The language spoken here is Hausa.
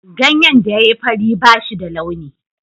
Ganyen da ya yi fari ba shi da launi.